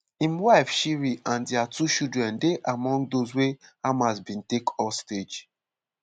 im wife shiri and dia two children dey among those wey hamas bin take hostage.